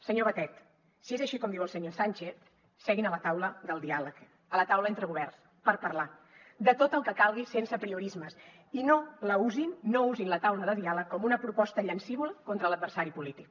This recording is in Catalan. senyor batet si és així com diu el senyor sánchez seguin a la taula del diàleg a la taula entre governs per parlar de tot el que calgui sense apriorismes i no usin la taula de diàleg com una proposta llancívola contra l’adversari polític